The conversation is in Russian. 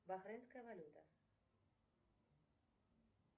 бахрейнская валюта